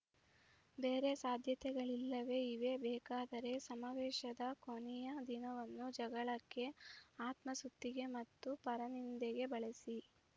ಬೇರೆ ಸಾಧ್ಯತೆಗಳಿಲ್ಲವೇ ಇವೆ ಬೇಕಾದರೆ ಸಮಾವೇಶದ ಕೊನೆಯ ದಿನವನ್ನು ಜಗಳಕ್ಕೆ ಆತ್ಮಸ್ತುತಿಗೆ ಮತ್ತು ಪರನಿಂದೆಗೆ ಬಳಸಿ